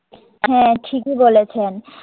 হ্যাঁ ঠিকই বলেছেন